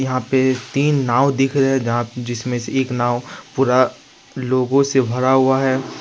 यहां पे तीन नांव दिख रहे हैं जहां जिसमें से एक नांव पूरा लोगों से भरा हुआ है।